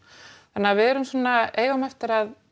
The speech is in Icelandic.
þannig að við erum svona eigum eftir að